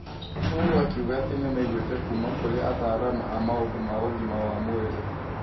Uhuru akiuga atĩ nĩmaiguĩte kuuma kũrĩ ataaramu a maũndũ ma ũgima wa mwĩrĩ.